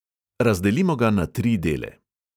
Razdelimo ga na tri dele.